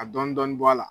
Ka dɔɔnin dɔɔnin bɔ a la